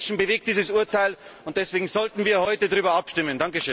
Millionen Menschen bewegt dieses Urteil, und deswegen sollten wir heute darüber abstimmen.